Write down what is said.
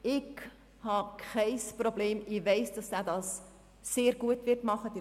Ich weiss, dass er das sehr gut machen wird.